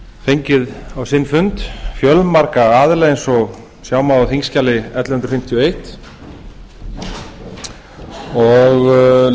fengið á sinn fund fjölmarga aðila eins og sjá má á þingskjali ellefu hundruð fimmtíu og eins og